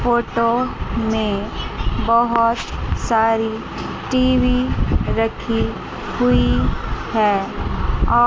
photo में बहुत सारी टी_वी रखी हुई है और--